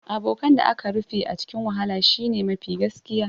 Abokan da aka rufe a cikin wahala shine mafi gaskiya